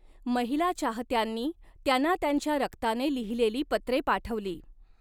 महिला चाहत्यांनी त्यांना त्यांच्या रक्ताने लिहिलेली पत्रे पाठवली.